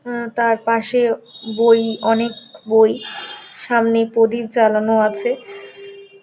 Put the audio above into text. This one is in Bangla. অ্যা তার পাশে বই অনেক বই সামনে প্রদীপ জ্বালানো আছে ।